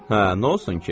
Hə, nə olsun ki?